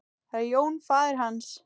Það er Jón faðir hans.